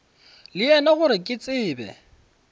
le yena gore ke tsebe